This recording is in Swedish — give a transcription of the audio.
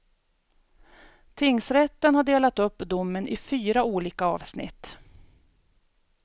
Tingsrätten har delat upp domen i fyra olika avsnitt.